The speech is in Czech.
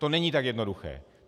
To není tak jednoduché.